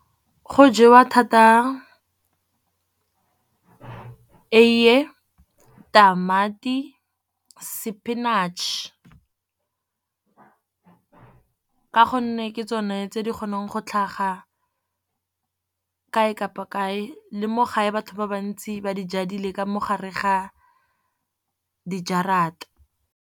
Go jewa thata eiye, tamati, spinach ka gonne ke tsone tse di kgonang go tlhaga kae kapa kae le mo gae batho ba bantsi ba di jadile ka mo gare ga dijarata.